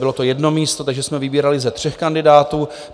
Bylo to jedno místo, takže jsme vybírali ze tří kandidátů.